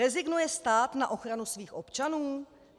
Rezignuje stát na ochranu svých občanů?